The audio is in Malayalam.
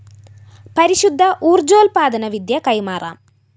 പരിശുദ്ധ ഊര്‍ജ്ജോല്‍പ്പാദന വിദ്യ കൈമാറാം